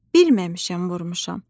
"Bilməmişəm, vurmuşam."